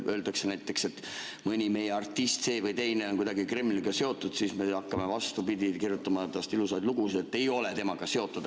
Näiteks kui öeldakse, et mõni meie artist, see või teine, on kuidagi Kremliga seotud, siis me hakkame, vastupidi, kirjutama temast ilusaid lugusid, et ei ole seotud.